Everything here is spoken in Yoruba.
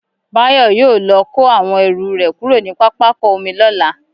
Bayo yóò lọ kó àwọn ẹrù rẹ̀ kúrò ní pápákọ omi lọ́la